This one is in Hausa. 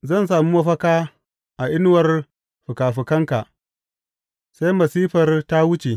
Zan sami mafaka a inuwar fikafikanka sai masifar ta wuce.